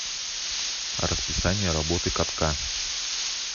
расписание работы катка